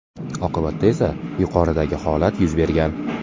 Oqibatda esa yuqoridagi holat yuz bergan.